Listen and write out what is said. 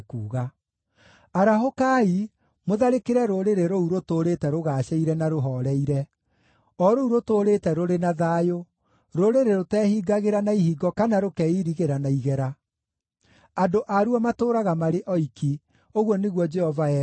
“Arahũkai mũtharĩkĩre rũrĩrĩ rũu rũtũũrĩte rũgaacĩire na rũhooreire, o rũu rũtũũrĩte rũrĩ na thayũ, rũrĩrĩ rũteehingagĩra na ihingo kana rũkeirigĩra na igera; andũ aruo matũũraga marĩ oiki,” ũguo nĩguo Jehova ekuuga.